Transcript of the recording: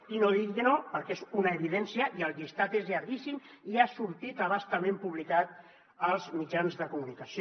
i no digui que no perquè és una evidència i el llistat és llarguíssim i ha sortit a bastament publicat als mitjans de comunicació